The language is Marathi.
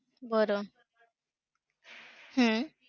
बरं! हम्म